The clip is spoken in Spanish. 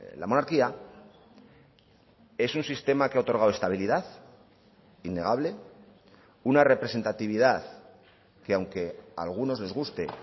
la monarquía es un sistema que ha otorgado estabilidad innegable una representatividad que aunque a algunos les guste